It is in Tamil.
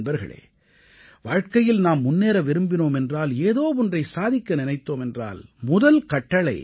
நண்பர்களே வாழ்க்கையில் நாம் முன்னேற விரும்பினோம் என்றால் ஏதோ ஒன்றை சாதிக்க நினைத்தோம் என்றால் முதல் கட்டளை